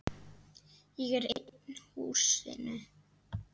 Ég er einn í húsinu.